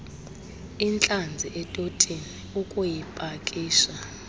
intlanzi etotini ukuyipakisha